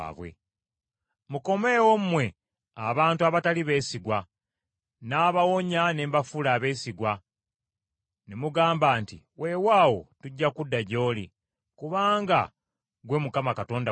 “Mukomeewo mmwe abantu abatali beesigwa, nnaabawonya ne mbafuula abeesigwa.” Ne mugamba nti, “Weewaawo tujja kudda gy’oli, kubanga ggwe Mukama Katonda waffe.